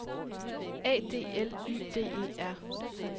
A D L Y D E R